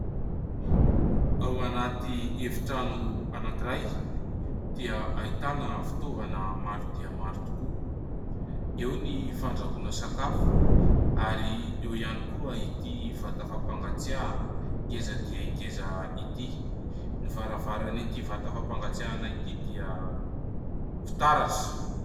Ao anaty efitrano anankiray dia ahitana fitaovana maro dia maro tokoa. Eo ny fandrahoana sakafo, ary eo ihany koa ity vata fampangatsiahana ngeza dia ngeza ity. Ny varavaran'ity vata fampangatsiahana ity dia fitaratra.